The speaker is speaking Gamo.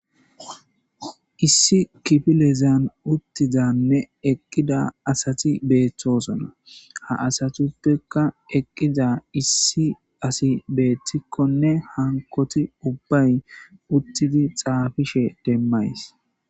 Issi kifilezan uttizanne eqqida asati beeththoosona ha asatuppekka eqqiza issi asi beettikkonne hankoti ubbay uttidi xaafishe demmays.